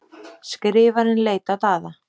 Skrifarinn leit á Daða.